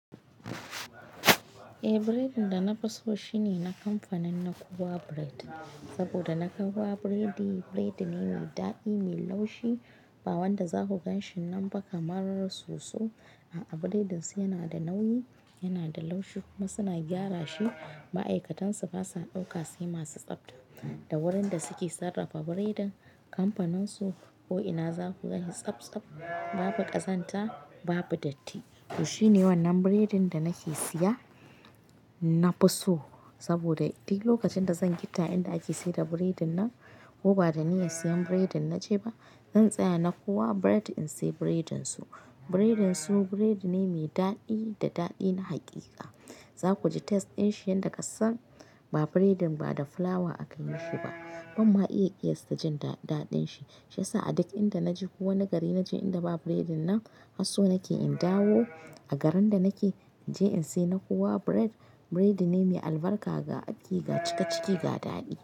Eh, biredin da na fi so shine na kamfanin Nakowa Bread. Saboda na kamowa biredi, biredi ne mai dadi mai laushi. Ba wanda za ku gan shi nan ba kamarar soso. A'a, biredin su yana da nauyi, yana da laushi kuma suna gyara shi. Ma'aikatan su basa ɗauka sai masu tsabta. Da wurin da suke sarrafa biredin, kamfanin su ko ina za ku gani tsabtsap, babu ƙazanta, babu datti. To shi ne wannan biredin da nake siya na fi so. Saboda duk lokacin da zan gitta inda ake saida biredin nan ko ba da niyya siyan biredin na je ba, zan tsaya na kuwa bread in siya biredin su. Biredin su biredi ne mai dadi da daɗi na hakika. Za ku ji taste din shi yanda kasan ba biredin ba da fulawa aka yi shi ba. Ban ma iya kiyasta jin daɗin shi. Shi yasa a duk inda naje ko wane gari naje inda baba biredin nan, har so nake in dawo a garin da nake in je in siya. Na kowa bread, biredi ne mai albarka ga afƙi, ga cikaciki, ga daɗi.